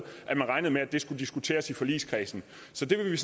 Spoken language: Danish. at man regnede med at det skulle diskuteres i forligskredsen så det vil vi